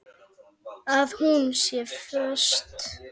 Að hún sé föst.